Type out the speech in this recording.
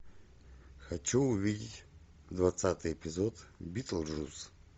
хочу увидеть двадцатый эпиход битлджус